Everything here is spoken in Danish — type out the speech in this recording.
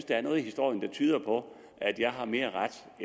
der er noget i historien der tyder på at jeg har mere